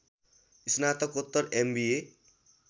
स्नातकोत्तर एमबिए